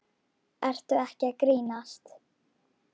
Ertu ekki að grínast?